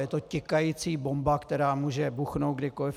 Je to tikající bomba, která může vybuchnout kdykoliv.